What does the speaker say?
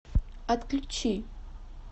отключи